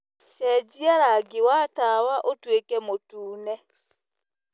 cenjĩa rangĩ wa tawa ũtũĩke mũtũne